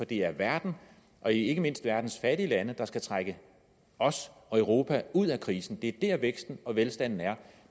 det er verden og ikke mindst verdens fattige lande der skal trække os og europa ud af krisen det er der væksten og velstanden er